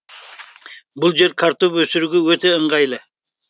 бұл жер картоп өсіруге өте ыңғайлы